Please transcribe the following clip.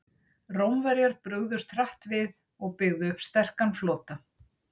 Rómverjar brugðust hratt við og byggðu upp sterkan flota.